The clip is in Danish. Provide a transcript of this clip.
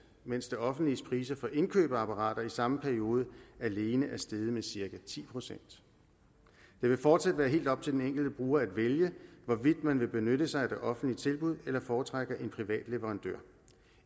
mens det offentliges priser for indkøb af apparater i samme periode alene er steget med cirka ti procent det vil fortsat være helt op til den enkelte bruger at vælge hvorvidt man vil benytte sig af det offentlige tilbud eller foretrækker en privat leverandør